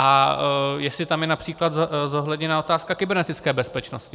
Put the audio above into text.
A jestli tam je například zohledněna otázka kybernetické bezpečnosti.